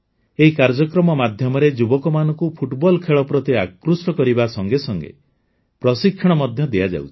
ଏହି କାର୍ଯ୍ୟକ୍ରମ ମାଧ୍ୟମରେ ଯୁବକମାନଙ୍କୁ ଫୁଟବଲ ଖେଳ ପ୍ରତି ଆକୃଷ୍ଟ କରିବା ସଙ୍ଗେ ସଙ୍ଗେ ପ୍ରଶିକ୍ଷଣ ମଧ୍ୟ ଦିଆଯାଉଛି